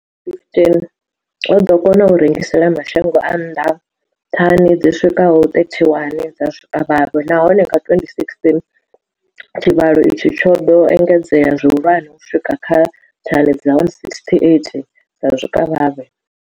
2015, o ḓo kona u rengisela mashango a nnḓa thani dzi swikaho 31 dza zwikavhavhe, nahone nga 2016 tshivhalo itshi tsho ḓo engedzea zwihulwane u swika kha thani dza 168 dza zwikavhavhe.